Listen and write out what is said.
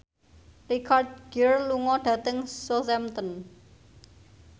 Richard Gere lunga dhateng Southampton